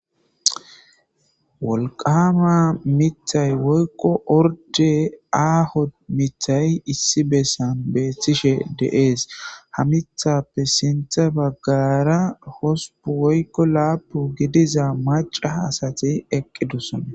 Wolqama mithay woykqo orde aaho mithay issi bessan beethtishe deees ha mithappe sintha baggara hosupu woykko laapu gidiza maca asati eqqidusana.